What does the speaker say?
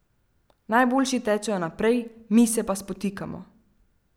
Najboljši tečejo naprej, mi se pa spotikamo.